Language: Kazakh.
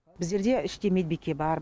біздерде іште медбике бар